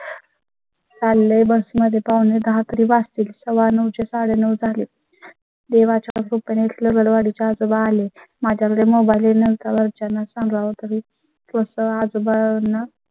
शालेय बस मध्ये पावणेदहा तरी वाच तील सव्वानऊ चे साडेनऊ झाले. तेव्हाच देवा च्या कृपे ने आजोबा आले. माझ्याकडे mobile नंतरच्या सागा व तुम्ही पोहोचता जुबान.